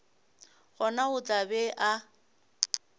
gona o tla be a